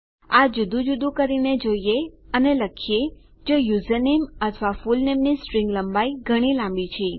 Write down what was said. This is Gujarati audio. આ જુદું જુદું કરીને જોઈએ અને લખીએ જો યુઝરનેમ અથવા ફુલનેમની સ્ટ્રીંગ લંબાઈ ઘણી લાંબી છે